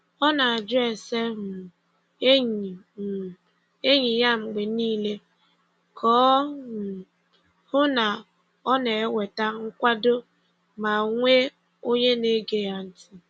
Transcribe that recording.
Ọ na-ajụ ese um enyi um enyi ya mgbe niile ka o um hụ na ọ na-enweta nkwado ma nwee onye na-ege ya ntị.